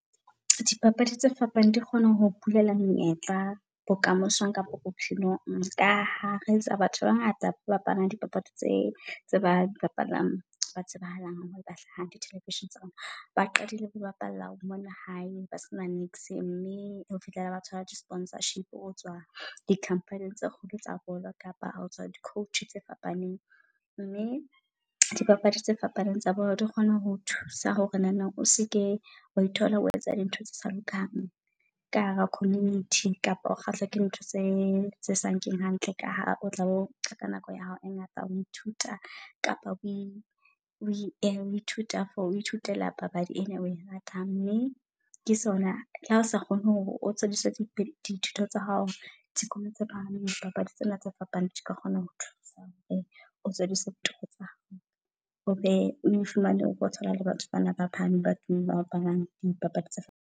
Dipapadi tse fapaneng di kgone ho o bulela me, nyetla bokamosong kapa bophelong ka ha re e tsa batho ba bangata ba bapalang dipapadi tse tse ba di bapalang. Ba tsebahalang hore ba hlaha di television tsa rona ba qadile ho bapala mona hae ba sena niks. Mme ho fihlela ba sponsorship ho tswa di company tse kgolo tsa bolo, kapa di-coach tse fapaneng mme dibapadi tse fapaneng. Mme dibapadi tse fapaneng tsa bolo di kgona ho thusa hore nana o seke wa ithola o etsa dintho tse sa lokang ka hara community kapa o kgahlwa ke ntho tse tse sakeng hantle ka ha o tla bo ka nako ya hao e ngata o ithuta. Kapa ke ithuta ho ithutela papadi ena oe ratang mme ke sona le ha o sa kgone hore o dithuto tsa hao. Dikolo tse phahameng dipapadi tsena tse fapaneng dika kgona ho thusa. O thole . Batho ba bapalang dipapadi tse.